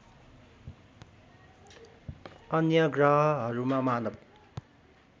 अन्य ग्रहहरूमा मानव